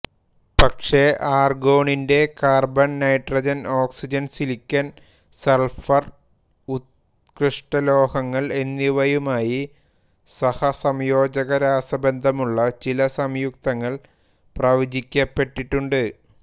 പക്ഷേ ആർഗോണിന്റെ carbon nitrogen oxygen silicon sulphur ഉത്കൃഷ്ടലോഹങ്ങൾ എന്നിവയുമായി സഹസംയോജക രാസബന്ധമുള്ള ചില സംയുക്തങ്ങൾ പ്രവചിക്കപ്പെട്ടിട്ടുണ്ട്